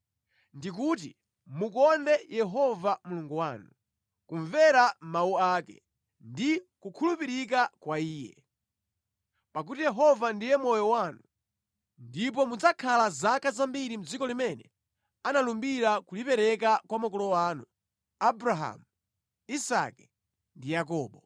Ndi kuti mukonde Yehova Mulungu wanu, kumvera mawu ake, ndi kukhulupirika kwa Iye. Pakuti Yehova ndiye moyo wanu, ndipo mudzakhala zaka zambiri mʼdziko limene analumbira kulipereka kwa makolo anu, Abrahamu, Isake ndi Yakobo.